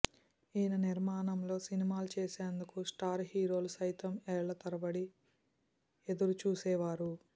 ఈయన నిర్మాణంలో సినిమాలు చేసేందుకు స్టార్ హీరోలు సైతం ఏళ్ల తరబడి ఎదురుచూసే వారు